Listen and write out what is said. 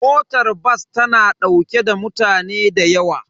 Motar bas tana daukar mutane da yawa.